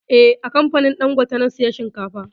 Eh, a kamfanin dangote na saya shinkafa